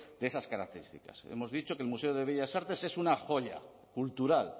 de esas características hemos dicho que el museo de bellas artes es una joya cultural